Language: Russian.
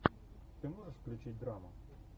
ты можешь включить драму